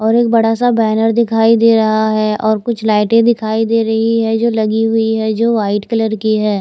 और एक बड़ा सा बैनर दिखाई दे रहा है और कुछ लाइटें दिखाई दे रही है जो लगी हुई है जो व्हाईट कलर की है।